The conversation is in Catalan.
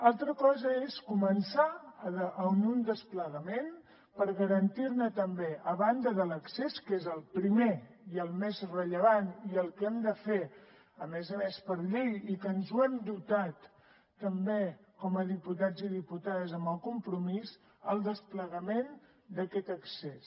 altra cosa és començar amb un desplegament per garantir també a banda de l’accés que és el primer i el més rellevant i el que hem de fer a més a més per la llei de què ens hem dotat també com a diputats i diputades amb el compromís el desplegament d’aquest accés